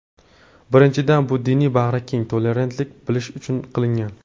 Birinchidan, bu diniy bag‘rikenglik, tolerantlik bo‘lishi uchun qilingan.